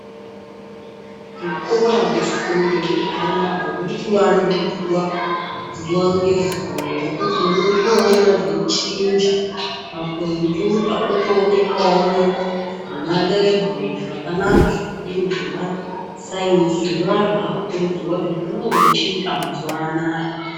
Zvikora zvefundo yekupuraimari zvirikuvanduzwa zuwa-ngezuwa ngekuti unotopona zveichinja makombiyuta otoonekemwo nemalebhu zvekanaka zvikadini zvemasainzi zvinova zvakukurudzirwa Kuti vange vachiita mazuwa anaya.